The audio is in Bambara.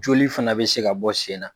Joli fana bɛ se ka bɔ sen na.